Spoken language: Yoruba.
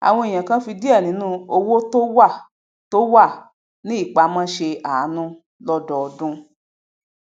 àwọn èèyàn kan fi diẹ ninu owó tó wà tó wà ní ìpamó se aanu lọdọọdun